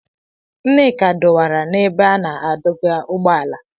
Nneka dọwara n'ebe a na-adọba ụgbọala.